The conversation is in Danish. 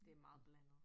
Det meget blandet